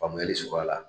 Faamuyali sɔrɔ a la